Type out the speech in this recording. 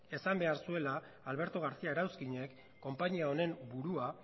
esan behar zuela alberto garcia erauzkinek konpainia honen burua